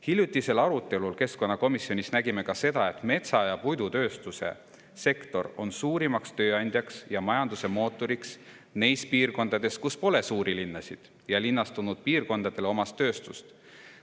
Hiljutisel arutelul keskkonnakomisjonis nägime ka seda, et metsa- ja puidutööstusesektor on suurim tööandja ja majanduse mootor neis piirkondades, kus pole suuri linnasid ja linnastunud piirkondadele omast tööstust.